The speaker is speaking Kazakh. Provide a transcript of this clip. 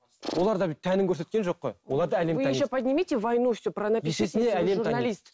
олар да бүйтіп тәнін көрсеткен жоқ қой оларды әлем таниды